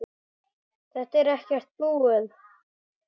Þetta er ekkert búið.